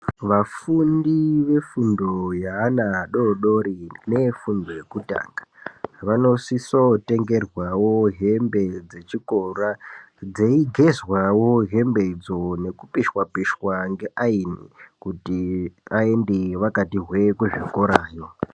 Vafundi vefundo yeana adoodori neefundo yokutanga vanosiso kutengerwawo hembe dzechikora dzeigezwawo hembe dzoo nokupishwa pishwa kweaini kuti vaende vakati hwee kuzvikora yoo.